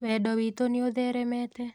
Wendo witũ nĩũtheremete.